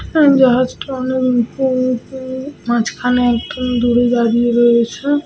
জাহাজটা অনেক মাঝখানে একদম দূরে দাঁড়িয়ে রয়েছে।